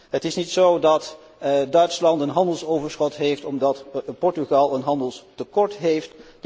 Het is niet zo dat Duitsland een handelsoverschot heeft omdat Portugal een handelstekort heeft.